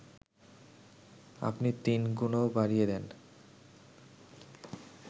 আপনি তিনগুণও বাড়িয়ে দেন